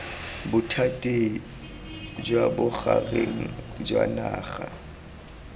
bothati jwa bogareng jwa naga